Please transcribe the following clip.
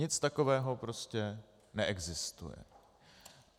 Nic takového prostě neexistuje.